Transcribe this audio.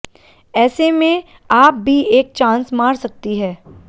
ऐसेमें आप भी एक चांस मार सकती है